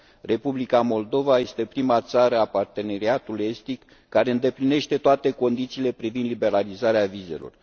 Republica Moldova este prima țară a Parteneriatului estic care îndeplinește toate condițiile pentru liberalizarea vizelor.